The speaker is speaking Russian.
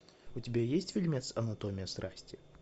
у тебя есть фильмец анатомия страсти